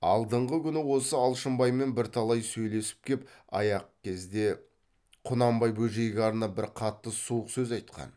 алдыңғы күні осы алшынбаймен бірталай сөйлесіп кеп аяқ кезде құнанбай бөжейге арнап бір қатты суық сөз айтқан